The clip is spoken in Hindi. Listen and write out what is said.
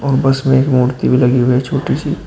और बस में एक मूर्ति भी लगी हुई है छोटी सी।